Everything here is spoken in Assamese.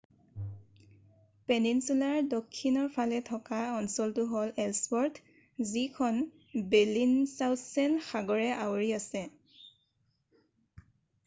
পেনিনছুলাৰ দক্ষিণৰ ফালে থকা অঞ্চলতো হ'ল এলছৱৰ্থ যিখন বেলিংচাউচ্ছেন সাগৰে আৱৰি আছে